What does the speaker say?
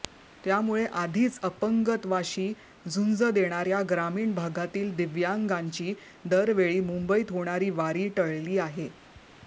त्यामुळे आधीच अपंगत्वाशी झुंज देणाऱ्या ग्रामीण भागातील दिव्यांगांची दरवेळी मुंबईत होणारी वारी टळली आहे